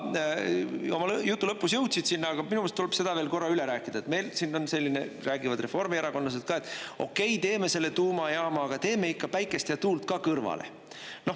Oma jutu lõpus jõudsid sinna, aga minu meelest tuleb seda veel korra üle rääkida, et meil räägivad reformierakondlased, et okei, teeme selle tuumajaama, aga teeme ikka päikest ja tuult ka kõrvale.